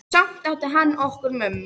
Og samt átti hann okkur mömmu.